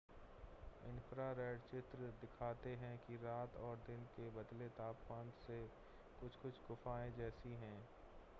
infrared चित्र दिखाते हैं कि रात और दिन के बदले तापमान से वे कुछ-कुछ गुफ़ाएं जैसी हैं